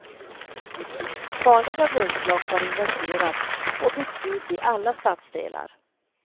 Farliga brunnslock har inventerats och bytts ut i alla stadsdelar.